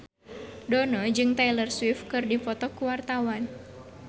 Dono jeung Taylor Swift keur dipoto ku wartawan